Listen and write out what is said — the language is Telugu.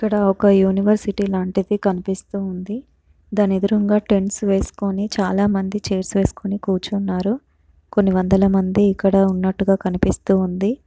ఇక్కడ ఒక యూనివర్సిటీ లాంటిది కనిపిస్తూ ఉంది దాని ఎదురుమగా టెంట్సే వేసుకొని చాలామంది చైర్స్ వేసుకొని కూర్చున్నారు కొన్ని వందలమంది ఇక్కడే ఉన్నట్టుగా కనిపిస్తూ ఉంది.